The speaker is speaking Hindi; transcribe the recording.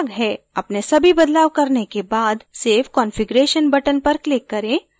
अपने सभी बदलाव करने के बाद save configuration button पर click करें